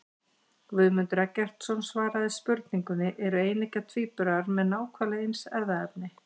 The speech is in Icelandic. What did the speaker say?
Guðmundur Eggertsson svaraði spurningunni Eru eineggja tvíburar með nákvæmlega eins erfðaefni?